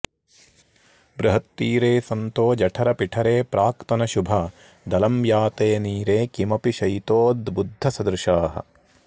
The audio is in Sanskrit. बृहत्तीरे सन्तो जठरपिठरे प्राक्तनशुभा दलं याते नीरे किमपि शयितोद्बुद्धसदृशाः